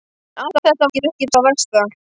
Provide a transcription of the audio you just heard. En allt þetta var ekki það versta.